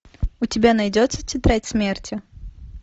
у тебя найдется тетрадь смерти